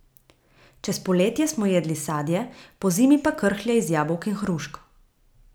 Čez poletje smo jedli sadje, pozimi pa krhlje iz jabolk in hrušk.